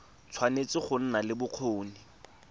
tshwanetse go nna le bokgoni